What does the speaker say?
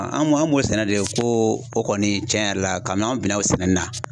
An m'o an m'o koo o kɔni cɛn yɛrɛ la kabi n'an bina o o sɛnɛli la